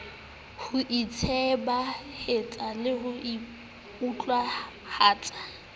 ho itsebahatsa le ho utlwahatsa